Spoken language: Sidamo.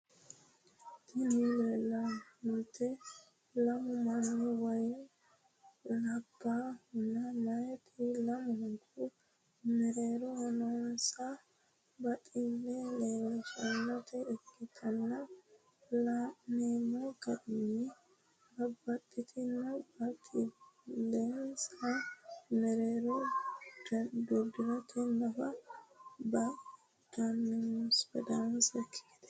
Tini lanemoti lamu mani woyim labahuna meyati lamuniku merero nonisa batile lelishanota ikana lanemo garinni babtitino batilinisa merero gurikegnu nafa badanosaki gedet.